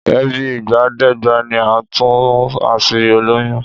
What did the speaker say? Èébí ìgbàdégbà ni á tún àṣírí olóyún